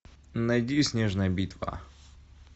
найди снежная битва